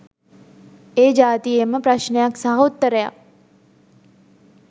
ඒ ජාතියේම ප්‍රශ්නයක් සහ උත්තරයක්.